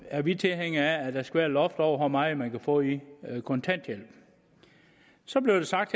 er vi tilhængere af at der skal loft over hvor meget man kan få i kontanthjælp så blev der sagt